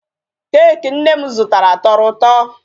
Cake nne m zụtara tọrọ ụtọ.